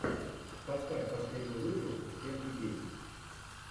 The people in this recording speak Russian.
поставь последний выпуск всех идей